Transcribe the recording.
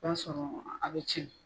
O b'a sɔrɔ a bɛ cɛn